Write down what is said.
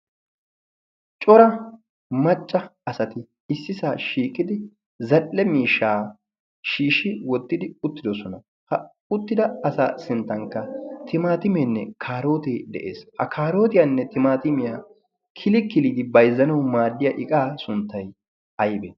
cora macca asati issisaa shiiqidi zal7e miishaa shiishi wottidi uttidosona. ha uttida asa sinttankka timaatimeenne kaarootee de7ees.a kaarootiyaanne timaatimiyaa kili kiliidi baizzanau maaddiya iqaa sunttai aibe?